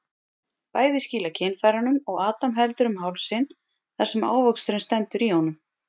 Bæði skýla kynfærunum og Adam heldur um hálsinn þar sem ávöxturinn stendur í honum.